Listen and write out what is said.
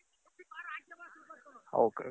okay.